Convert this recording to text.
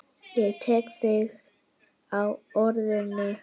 Ég tek þig á orðinu!